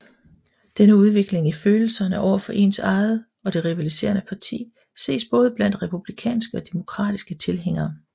Denne udvikling i følelserne over for ens eget og det rivaliserende parti ses både blandt republikanske og demokratiske tilhængere